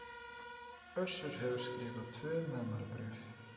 Össur hefur skrifað tvö meðmælabréf